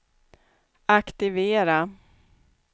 aktivera